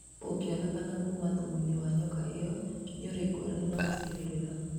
Thumu ungĩkĩoneka Kuma thumu-inĩ wa nyoka ĩyo nĩũrĩ ngũrani na macigĩrĩra